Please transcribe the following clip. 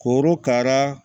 Korokara